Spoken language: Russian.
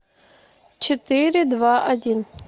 четыре два один